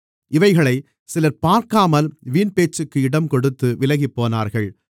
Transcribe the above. இவைகளைச் சிலர் பார்க்காமல் வீண்பேச்சுக்கு இடம்கொடுத்து விலகிப்போனார்கள்